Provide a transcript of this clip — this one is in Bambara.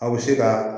Aw bɛ se ka